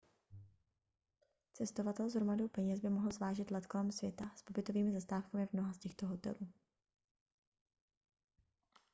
cestovatel s hromadou peněz by mohl zvážit let kolem světa s pobytovými zastávkami v mnoha z těchto hotelů